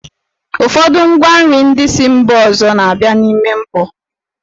Ụfọdụ ngwa nri ndị si mba ọzọ na-abịa n'ime mkpọ.